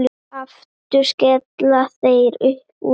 Aftur skella þær upp úr.